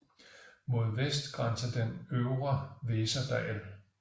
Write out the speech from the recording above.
Mod vest grænser den til den øvre Weserdal